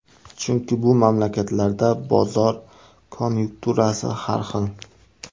Chunki bu mamlakatlarda bozor konyukturasi har xil.